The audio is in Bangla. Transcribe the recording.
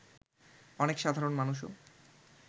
অনেক সাধারণ মানুষও